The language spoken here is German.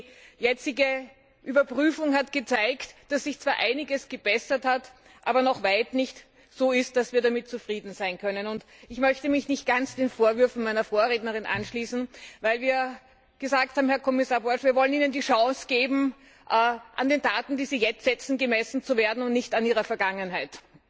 Die jetzige Überprüfung hat gezeigt, dass sich zwar einiges gebessert hat, aber es bei weitem noch nicht so ist, dass wir damit zufrieden sein können. Ich möchte mich nicht ganz den Vorwürfen meiner Vorrednerin anschließen, weil wir Ihnen, Herr Kommissar Borg, die Chance geben wollen, an den Taten, die Sie jetzt setzen, gemessen zu werden, und nicht an Ihrer Vergangenheit.